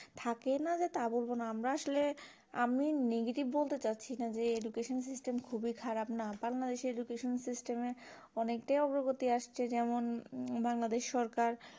থেকেই যে না তা বলবো না আমরা আসলে আমি negative বলতে চাচ্ছি না যে education system খুবই খারাপ না বাংলাদেশ এ education system এ অনেকটাই অবগতি আসছে যেমন বাংলাদেশ সরকার